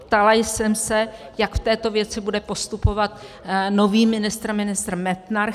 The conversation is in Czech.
Ptala jsem se, jak v této věci bude postupovat nový ministr, ministr Metnar.